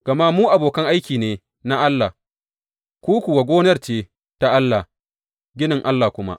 Gama mu abokan aiki ne na Allah; ku kuwa gonar ce ta Allah, ginin Allah kuma.